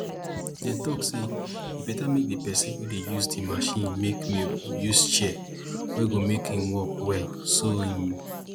dem talk say e beta make di person wey dey use di machine make milk use chair wey go make am work well so im